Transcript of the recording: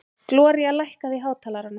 Gloría, lækkaðu í hátalaranum.